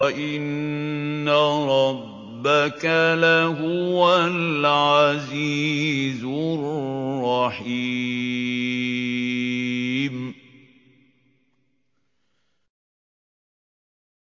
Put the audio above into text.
وَإِنَّ رَبَّكَ لَهُوَ الْعَزِيزُ الرَّحِيمُ